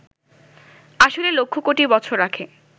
আসলে লক্ষ কোটি বছর আগে